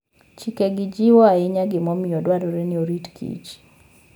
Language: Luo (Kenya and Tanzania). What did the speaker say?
Chikegi jiwo ahinya gimomiyo dwarore ni orit kich